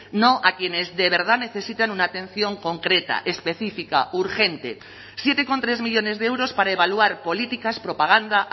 no a quienes de verdad necesitan una atención concreta específica urgente siete coma tres millónes de euros para evaluar políticas propaganda